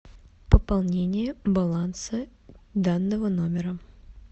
пополнение баланса данного номера